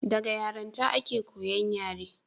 daga yaranta a ke koyan yare